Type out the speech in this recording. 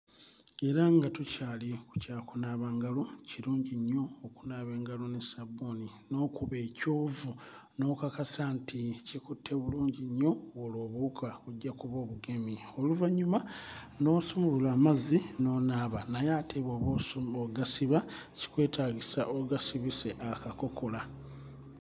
Era nga tukyali ku kya kunaaba ngalo, kirungi nnyo okunaaba engalo ne ssaabbuuni n'okuba ekyovu n'okakasa nti kikutte bulungi nnyo olwo obuwuka ojja kuba obugemye. Oluvannyuma n'osumulula amazzi n'onaaba naye ate bw'oba osu... ng'ogasiba kikwetaagisa ogasibise akakokola.